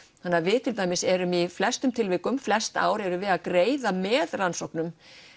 þannig að við til dæmis erum í flestum tilvikum flest ár erum við að greiða með rannsóknum